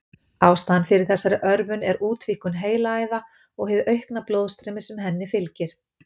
Ástæðan fyrir þessari örvun er útvíkkun heilaæða og hið aukna blóðstreymi sem henni fylgir.